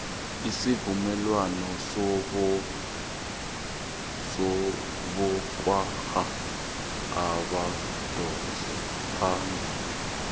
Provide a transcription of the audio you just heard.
isuvumelwano sobosokontraga abadosa phambili